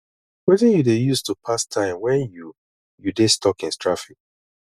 wetin you dey use to pass time when you you dey stuck in traffic